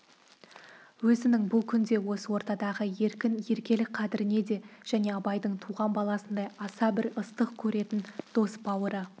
өзінің бұл күнде осы ортадағы еркін еркелік қадіріне де және абайдың туған баласындай аса бір ыстық көретін дос-бауыры